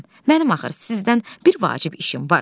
Mənim axı sizdən bir vacib işim var.